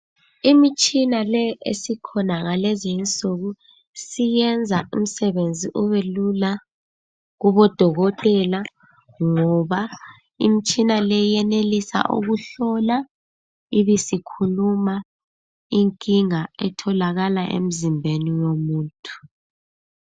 Imitshina le esikhona ngalezi nsuku iyenza umsebenzi ube Lula kubo dokotela ngoba imitshina le uyenelisa ukuhloa ibisikhuluma inkinga esemzimbeni womuntu